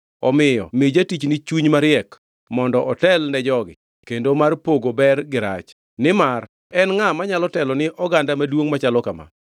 Omiyo mi jatichni chuny mariek mondo otel ne jogi kendo mar pogo ber gi rach. Nimar en ngʼa manyalo telo ni oganda maduongʼ machalo kama?”